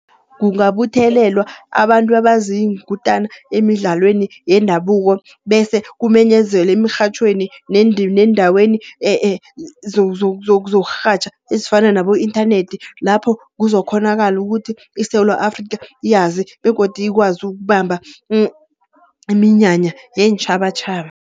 Kungabuthelelwa abantu abaziinkutana emidlalweni yendabuko, bese kumenyezelwe emirhatjhweni neendaweni zokurhatjha ezifana nabo-inthanethi. Lapho kuzokghonakala ukuthi iSewula Afrikha iyazi begodu ikwazi ukubamba iminyanya yeentjhabatjhaba.